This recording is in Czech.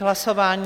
K hlasování?